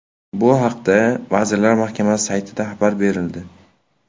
Bu haqda Vazirlar Mahkamasi saytida xabar berildi .